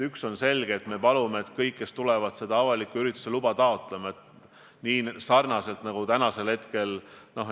Üks on selge: me palume, et kõik, kes tulevad avaliku ürituse luba taotlema, peavad kooskõlastuse saama ka Terviseametilt.